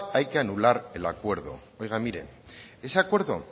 hay que anular el acuerdo oiga mire ese acuerdo